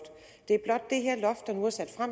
der nu er sat